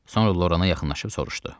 Sonra Lorana yaxınlaşıb soruşdu.